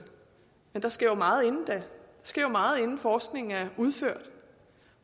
men der sker jo meget inden da der sker jo meget inden forskningen er udført